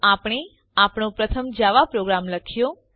તો આપણે આપણો પ્રથમ જવા પ્રોગ્રામ લખ્યો